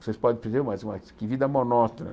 Vocês podem dizer, mas mas que vida monótona.